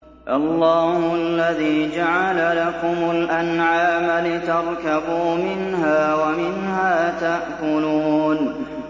اللَّهُ الَّذِي جَعَلَ لَكُمُ الْأَنْعَامَ لِتَرْكَبُوا مِنْهَا وَمِنْهَا تَأْكُلُونَ